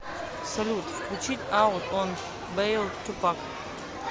салют включить аут он бэйл тупак